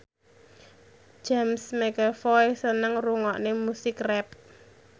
James McAvoy seneng ngrungokne musik rap